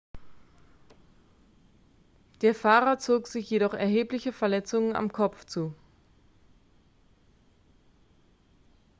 der fahrer zog sich jedoch erhebliche verletzungen am kopf zu